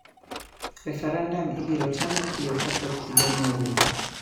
Referendum ibiro taa mapiyo kapok igani orumo